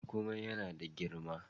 Kuma ya na da girma.